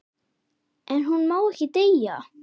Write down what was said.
En hún má ekki deyja.